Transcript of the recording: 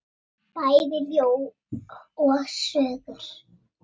Bæði ljóð og sögur.